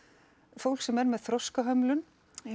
fólks sem er með þroskahömlun